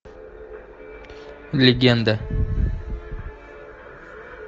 легенда